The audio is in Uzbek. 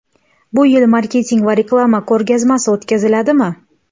Bu yil Marketing va reklama ko‘rgazmasi o‘tkaziladimi?